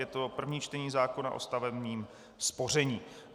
Je to první čtení zákona o stavebním spoření.